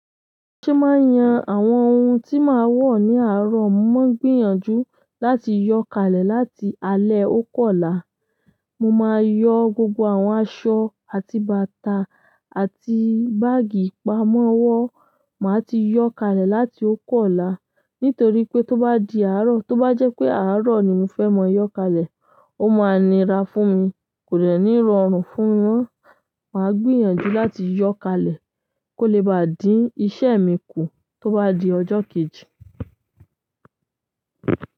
Ṣé màá yan àwọn ohun tí màá wọ̀ ní àárọ̀, mó gbìyànjú láti yọ̀ kalẹ̀ láti alẹ́ oku ọ là. Mo máa yọ gbogbo àwọn aṣọ àti bàtà àti báàgì ìpamọ́wọ́ màa ti yọ kalẹ̀ láti o ku ọ la. Nítorí pé tó bá di àárọ̀, tó bá jẹ́ pé àárọ̀ ni mo fẹ́ máa yọ kálẹ̀, ó máa nira fún mi kò dẹ̀ ní rọrùn fún mi mọ́. Màá gbìyànjú láti yọ̀ kalẹ̀ kó le bá dí iṣẹ́ mi kù tó bá di ọjọ́ kejì.